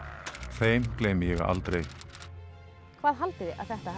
þeim gleymi ég aldrei hvað haldið